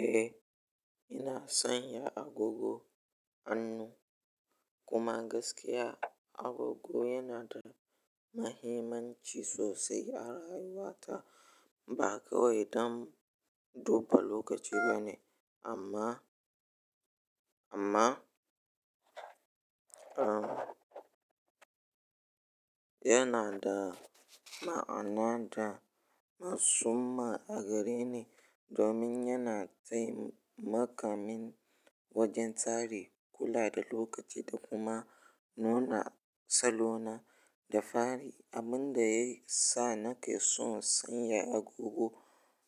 Eh, ina sanya agogo hannu kuma gaskiya agogo yana da mahimmanci sosai a rayuwa ta. Ba kawai don duba lokaci bane amma, amma, um, yana da ma'ana da matsumma a gare ni domin yana taimaka min wajen tsari kula da lokaci da kuma nuna salona da fari. Abin da ya sa nake so sanya agogo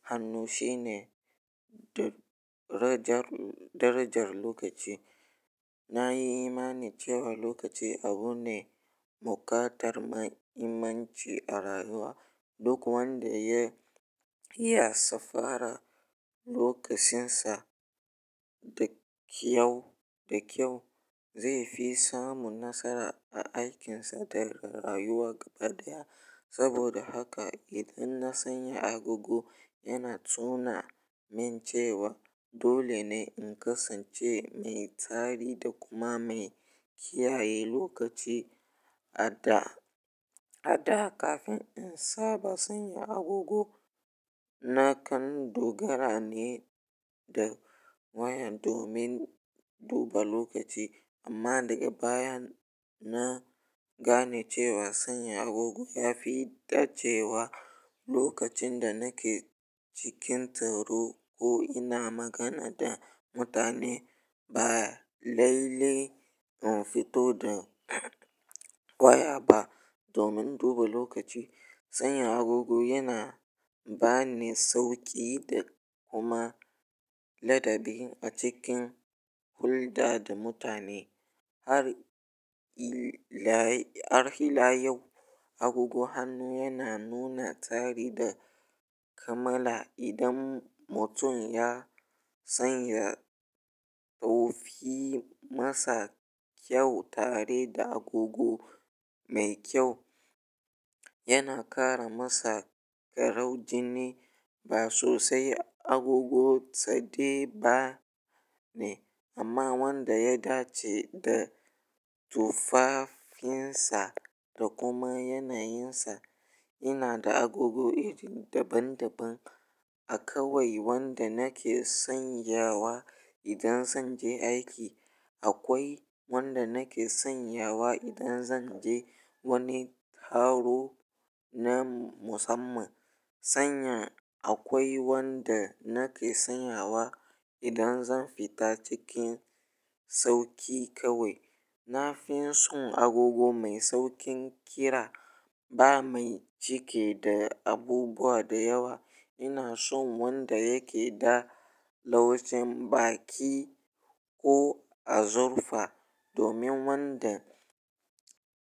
hannu shine darajar lokaci. Na yi imani cewa lokaci abu ne muƙatar mahimmanci a rayuwa. Duk wanda ya iya safara lokacinsa da kyau, da kyau zai fi samu nasara a aikinsa da rayuwa gaba ɗaya. Saboda haka idan na sanya agogo yana tuna min cewa dole ne in kasance mai tsari da kuma mai kiyaye lokaci a da, a da kafin in saba sanya agogo. Na kan dogara ne da waya domin duba lokaci amma daga baya na gane cewa sanya agogo ya fi dace wa lokacin da nake cikin taro ko ina magana da mutane baya laile in fito da waya ba domin duba lokaci. Sanya agogo yana ba ni sauƙi da kuma ladabi a cikin hulɗa da mutane. Har ila, har ila yau agogo hannu yana nuna tsari da kamala. Idan mutum ya sanya tsoffi masa kyau tare da agogo mai kyau yana ƙara masa farin jini ba sosai agogo tsade ba ne amma wanda ya dace da tufafinsa da kuma yanayinsa. Ina da agogo iri daban daban. Akawai wanda nake sanyawa idan zan je aiki. Akwai wanda nake sanyawa idan zan je wani taro na musamman. Sanya akwai wanda nake sanyawa idan zan fita cikin sauƙi kawai. Na fi son agogo mai sauƙin kira ba mai cike da abubuwa da yawa. Ina son wanda yake da laujen baki ko azurfa domin wanda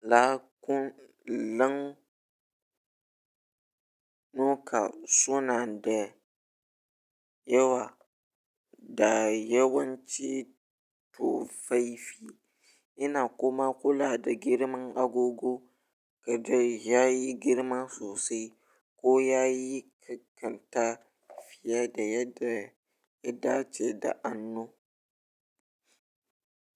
laƙulan, laƙulan Noka suna da yawa da yawanci tufafi. Ina kuma kula da girman agogo kada ya yi girma sosai ko ya yi ƙanƙanta fiye da yadda ya dace da hannu.